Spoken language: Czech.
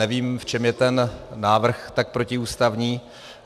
Nevím, v čem je ten návrh tak protiústavní.